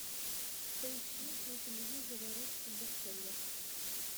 поищи на телевизоре русский бестселлер